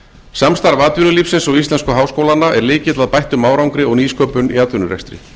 samstarf atvinnulífsins og íslensku háskólanna er lykill að bættum árangri og nýsköpun í atvinnurekstri